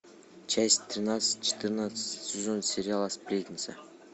часть тринадцать четырнадцатый сезон сериала сплетница